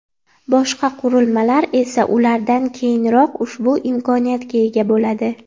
Boshqa qurilmalar esa ulardan keyinroq ushbu imkoniyatga ega bo‘ladi.